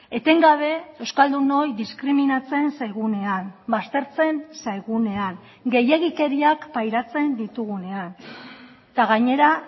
etengabe euskaldunoi diskriminatzen zaigunean baztertzen zaigunean gehiegikeriak pairatzen ditugunean eta gainera